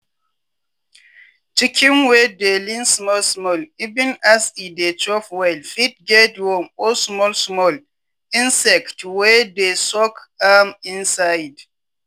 chicken wey dey lean small small even as e dey chop well fit get worm or small small insect wey dey suck am inside.